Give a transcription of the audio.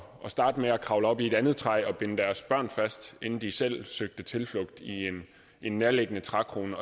starte med at kravle op i et andet træ og binde deres børn fast inden de selv søgte tilflugt i en nærliggende trækrone